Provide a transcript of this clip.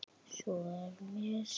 Svo er mér sagt.